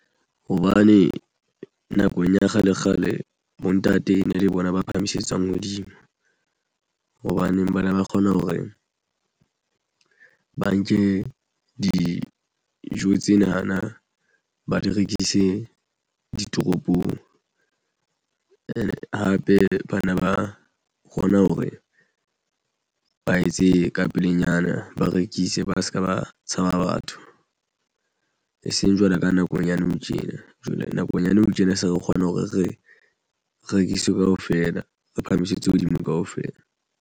Hobane nakong ya kgale kgale bontate ene le bona ba phahamisetswang hodimo. Hobane ba ne ba kgona hore ba nke dijo tsena na ba di rekise ditoropong and hape bana ba kgona hore ba etse ka pelenyana, ba rekise ba se ka ba tshaba batho. E seng jwalo ka nakong ya nou tjena jwale nakong ya nou tjena se re kgona hore re rekiswe kaofela re phahamisetsa hodimo kaofela.